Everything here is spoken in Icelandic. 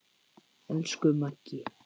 Elsku Maggi.